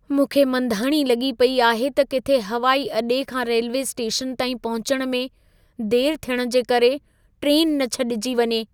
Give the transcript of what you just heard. मूंखे मंधाणी लॻी पेई आहे त किथे हवाई अॾे खां रेल्वे स्टेशन ताईं पहुचण में देरि थियण जे करे ट्रेन न छॾिजी वञे।